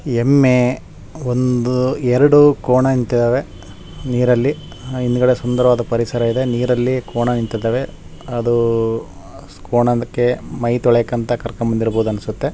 ಎಮ್ಮೆ ಒಂದು ಎರಡು ಕೋಣ ನಿಂತಿದ್ದಾವೆ ನೀರಿನಲ್ಲಿ ಹಿಂದುಗಡೆ ಸುಂದರವಾದ ಪರಿಸರ ಇದೆ ನೀರಲ್ಲಿ ಕೋಣ ನಿಂತಿದ್ದಾವೆ ಅದು ಕೋಣಕ್ಕೆ ಮೈತೊಳೆಯಕಂತಾ ಕರೆದುಕೊಂಡು ಬಂದಿರಬಹುದು ಅನಿಸುತ್ತೆ.